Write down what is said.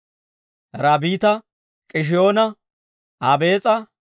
Rabbiita, K'ishiyoona, Abees'a,